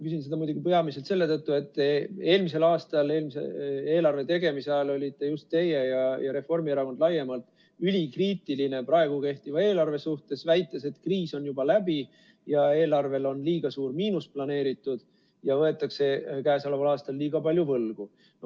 Küsin seda muidugi peamiselt selle tõttu, et eelmisel aastal eelarve tegemise ajal olite just teie ja Reformierakond laiemalt ülikriitiline praegu kehtiva eelarve suhtes, väites, et kriis on juba läbi ja eelarvel on liiga suur miinus planeeritud ja võetakse käesoleval aastal liiga palju võlgu.